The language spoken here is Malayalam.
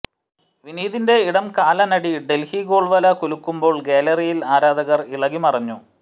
വിനീതിന്റെ ഇടം കാലനടി ഡെൽഹി ഗോൾവല കുലുക്കുമ്പോൾ ഗ്യാലറിയിൽ ആരാധകർ ഇളകി മറിഞ്ഞു